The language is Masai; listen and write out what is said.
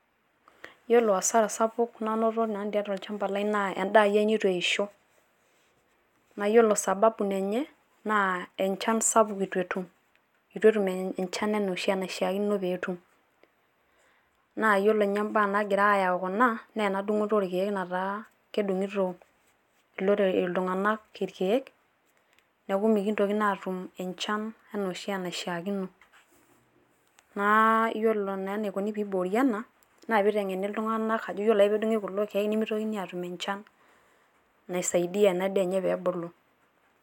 Yiolo hasara sapuk nanoto nanu tiatua olchamba lai naa endaa ai neitu eisho. Naa yiolo sababu enye naa enchan sapuk eitu etum. Eitu etum enchan enaa oshi enashiakino pee etum, naa yiolo ninye imbaa naagira ayau kuna naa ena dung`oto oo irkiek. Nataa kedung`itoI iltung`anak ilkiek niaku mikintoki naa aatum enchan enaa enaishiakino. Naa yiolo naa enaikoni pee iboori ena naa pee iteng`eni iltung`anak ajo yiolo ake pee edung`i kulo kiek nemeitokini aatum enchan naisaidia ena daa enye pee ebulu.